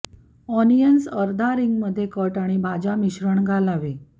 onions अर्धा ring मध्ये cut आणि भाज्या मिश्रण घालावे